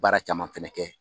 Baara caman fɛnɛ kɛ.